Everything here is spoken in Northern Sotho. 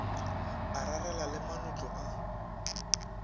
a rarela le manotlo a